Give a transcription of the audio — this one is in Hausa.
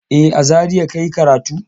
E, a Zariya ka yi karatu.